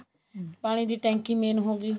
ਹਮ ਪਾਣੀ ਦੀ ਟੈਂਕੀ main ਹੋ ਗਈ